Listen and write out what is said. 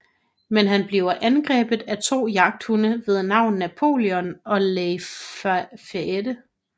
Men han bliver angrebet af to jagthunde ved navn Napoleon og Lafayette